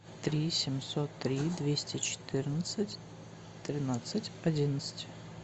три семьсот три двести четырнадцать тринадцать одиннадцать